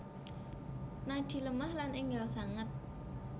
Nadi lemah lan enggal sanget